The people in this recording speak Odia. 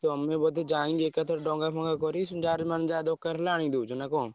ତମେ ବୋଧେ ଯାଇ ଏକାଥରେ ଡଙ୍ଗା ଫଙ୍ଗା କରି ଯାହାର ମାନେ ଯାହା ଦରକାର ହେଲେ ଆଣି ଦଉଛ ନା କଣ?